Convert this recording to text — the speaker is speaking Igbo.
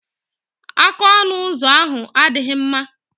Aka ọnụ ụzọ ahu adịghị mma.